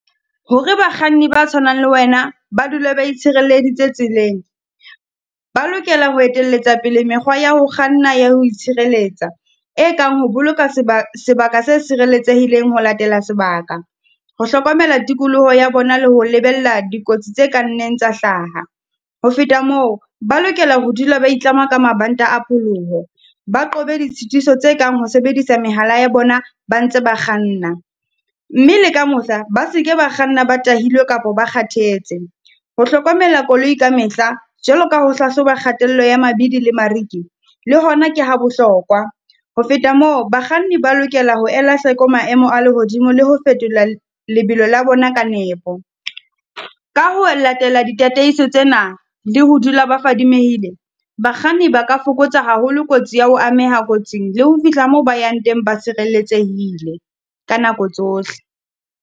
Hore bakganni ba tshwanang le wena ba dule ba itshirelleditse tseleng, ba lokela ho etelletsa pele mekgwa ya ho kganna ya ho itshireletsa. E kang ho boloka sebaka se sireletsehileng ho latela sebaka. Ho hlokomela tikoloho ya bona le ho lebella dikotsi tse kang neng tsa hlaha. Ho feta moo, ba lokela ho dula ba itlama ka mabanta a pholoho, ba qobe ditshitiso tse kang ho sebedisa mehala ya bona ba ntse ba kganna. Mme le ka mohla, ba seke ba kganna ba tahilwe kapo ba kgathetse, ho hlokomela koloi ka mehla jwalo ka ho hlahloba kgatello ya mabidi le mariki, le hona ke ha bohlokwa. Ho feta moo, bakganni ba lokela ho ela hloko maemo a lehodimo le ho fetola lebelo la bona ka nepo. Ka ho latela ditataiso tsena, le ho dula ba fadimehile, bakganni ba ka fokotsa haholo kotsi ya ho ameha kotsing le ho fihla moo ba yang teng ba sireletsehile, ka nako tsohle.